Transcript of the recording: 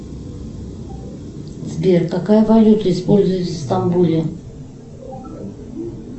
сбер какая валюта используется в стамбуле